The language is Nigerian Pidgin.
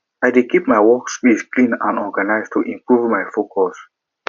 i dey keep my workspace clean and organized to improve my focus